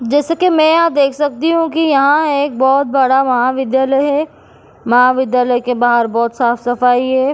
जैसे कि मैं यहां देख सकती हूं कि यहां एक बहुत बड़ा महाविद्यालय है महाविद्यालय के बाहर बहुत साफ सफाई है।